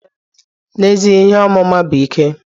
N'ezie, ihe ọmụma bụ ike.